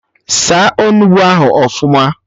Saa Onugbu ahụ ọfụma!